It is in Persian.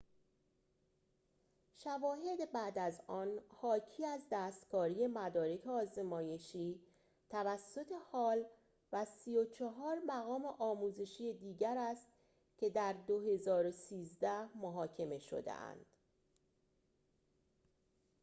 شواهد بعد از آن حاکی از دستکاری مدارک آزمایشی توسط هال و ۳۴ مقام آموزشی دیگر است که در ۲۰۱۳ محاکمه شده‌اند